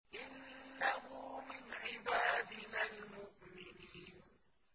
إِنَّهُ مِنْ عِبَادِنَا الْمُؤْمِنِينَ